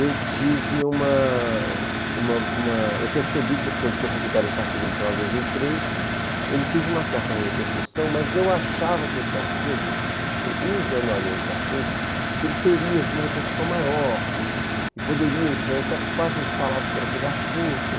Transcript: Eu tive uma uma uma eu percebi que eu tinha publicado esse artigo no final de dois mil e três, ele teve uma certa repercussão, mas eu achava que esse artigo, eu ingenuamente achei, que ele teria uma repercussão maior e poderia influenciar, porque quase não se falava sobre aquele assunto.